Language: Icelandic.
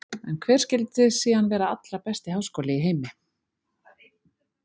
En hver skyldi síðan vera allra besti háskóli í heimi?